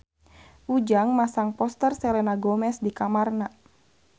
Ujang masang poster Selena Gomez di kamarna